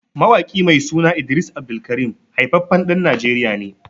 Mawaƙi mai suna Idris AbdulKareem haifaffen ɗan najeriya ne